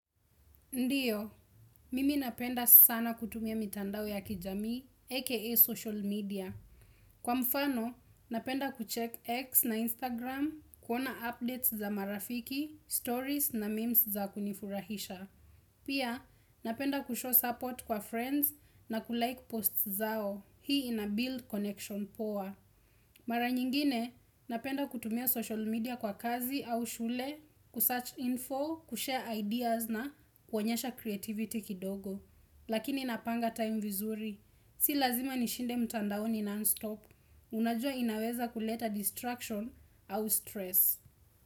Ndiyo, mimi napenda sana kutumia mitandao ya kijamii, aka social media. Kwa mfano, napenda kucheck X na Instagram, kuona updates za marafiki, stories na memes za kunifurahisha. Pia, napenda kushow support kwa friends na kulike posts zao. Hii ina build connection poa. Mara nyingine, napenda kutumia social media kwa kazi au shule, kusearch info, kushare ideas na kuonyesha creativity kidogo. Lakini napanga time vizuri. Si lazima nishinde mtandaoni non-stop. Unajua inaweza kuleta distraction au stress.